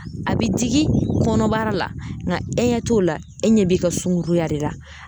A bi digi kɔnɔbara la nga e ɲɛ t'o la e ɲɛ b'i ka sunkuruya de la